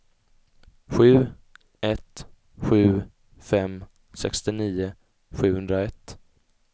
sju ett sju fem sextionio sjuhundraett